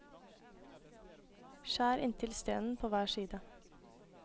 Skjær inntil stenen på hver side.